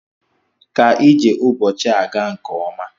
Ka ije ụbọchị a gaa nke ọma.